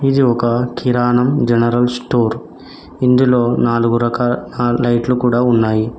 ఇది ఒక కిరాణం జనరల్ స్టోర్ ఇందులో నాలుగు రకాల నాలుగు లైట్లు కూడా ఉన్నాయి.